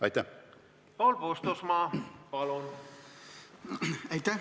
Aitäh!